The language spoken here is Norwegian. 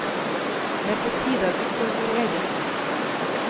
Det er på tide at vi får vår egen.